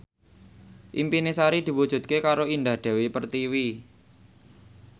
impine Sari diwujudke karo Indah Dewi Pertiwi